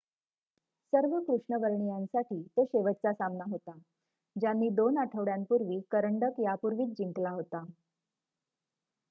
सर्व कृष्णवर्णियांसाठी तो शेवटचा सामना होता ज्यांनी दोन आठवड्यांपूर्वी करंडक यापूर्वीच जिंकला होता